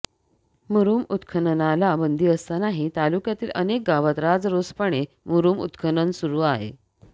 मुरूम उत्खननाला बंदी असतानाही तालुक्यातील अनेक गावात राजरोसपणे मुरूम उत्खनन सुरू आहे